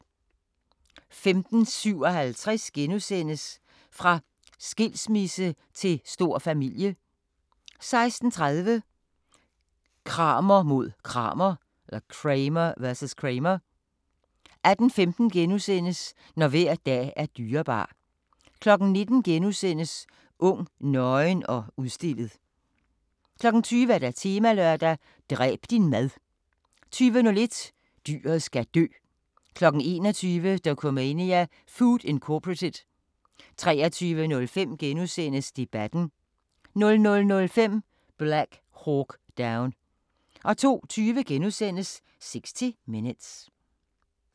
15:57: Fra skilsmisse til stor familie * 16:30: Kramer mod Kramer 18:15: Når hver dag er dyrebar * 19:00: Ung, nøgen og udstillet * 20:00: Temalørdag: Dræb din mad 20:01: Dyret skal dø 21:00: Dokumania: Food, Inc. 23:05: Debatten * 00:05: Black Hawk Down 02:20: 60 Minutes *